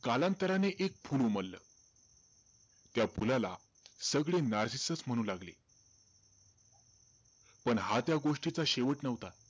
कालांतराने एक फुल उमललं. त्या फुलाला सगळे नार्सिसस म्हणू लागले. पण हा त्या गोष्टीचा शेवट नव्हता.